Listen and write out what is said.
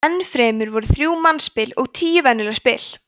enn fremur voru þrjú mannspil og tíu venjuleg spil